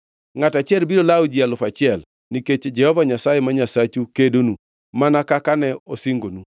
Ngʼato achiel biro lawo ji alufu achiel, nikech Jehova Nyasaye ma Nyasachu kedonu, mana kaka ne osingonu.